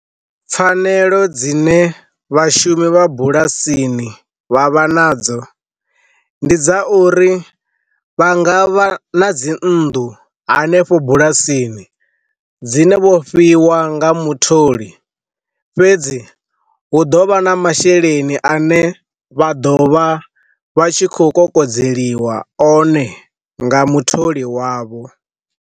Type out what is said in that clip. Pfanelo dzine vhashumi vha bulasini vha vha nadzo, ndi dza uri vha nga vha na dzi nnḓu hanefho bulasini dzine vhofhiwa nga mutholi fhedzi hu ḓo vha na masheleni ane vha ḓovha vha tshi khou kokodzeliwa one nga mutholi wavho.